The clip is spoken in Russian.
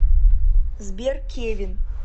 сбер кевин